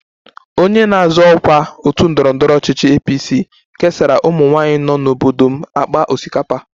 Onye na-azọ ọkwa otu ndọrọ ndọrọ ọchịchị APC kesara ụmụnwaanyị nọ n'obodo m akpa osikapa